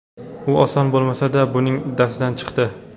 U oson bo‘lmasa-da, buning uddasidan chiqdi.